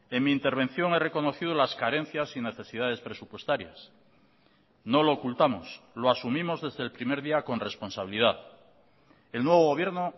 en mi intervención he reconocido las carencias y necesidades presupuestarias no lo ocultamos lo asumimos desde el primer día con responsabilidad el nuevo gobierno